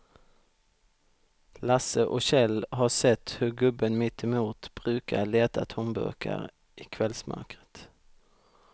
Lasse och Kjell har sett hur gubben mittemot brukar leta tomburkar i kvällsmörkret.